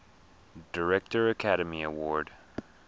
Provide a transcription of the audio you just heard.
director academy award